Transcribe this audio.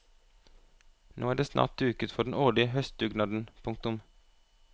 Nå er det snart duket for den årlige høstdugnaden. punktum